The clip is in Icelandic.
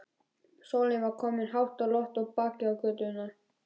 Sólin var komin hátt á loft og bakaði göturnar.